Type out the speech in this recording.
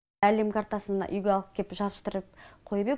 әлем картасын үйге алып кеп жабыстырып қойып ек